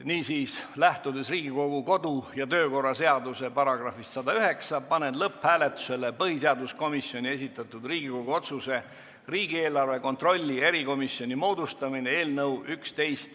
Niisiis, lähtudes Riigikogu kodu- ja töökorra seaduse §-st 109, panen lõpphääletusele põhiseaduskomisjoni esitatud Riigikogu otsuse "Riigieelarve kontrolli erikomisjoni moodustamine" eelnõu .